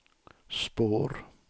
spår